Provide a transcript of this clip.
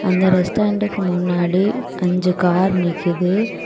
அந்த ரெஸ்டாரண்டுக்கு முன்னாடி அஞ்சு கார் நிக்குது.